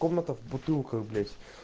комната в бутылках блять